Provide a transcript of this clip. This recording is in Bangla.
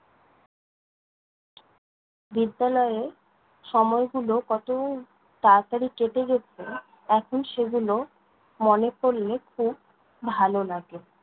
বিদ্যালয়ে সময় গুলো কতো তাড়াতাড়ি কেটে গেছে, এখন সেগুলো মনে পড়লে খুব ভালো লাগে।